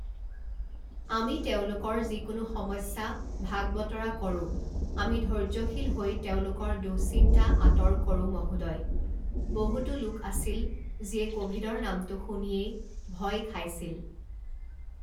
আমি তেওঁলোকৰ যিকোনো সমস্যা ভাগ বতৰা কৰো, আমি ধৈৰ্য্যশীল হৈ তেওঁলোকৰ দুঃশ্চিন্তা আঁতৰ কৰো মহোদয়, বহুতো লোক আছিল যিয়ে ক’ভিড ৰ নামটো শুনিয়েই ভয় খাইছিল।